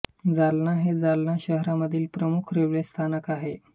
जालना हे जालना शहरामधील प्रमुख रेल्वे स्थानक आहे